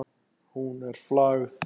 Hún er flagð.